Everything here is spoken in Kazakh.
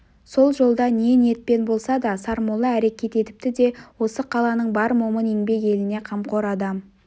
сол жолда не ниетпен болса да сармолла әрекет етіпті де осы қаланың бар момын еңбек еліне қамқор адам